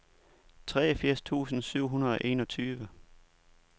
treogfirs tusind syv hundrede og enogtyve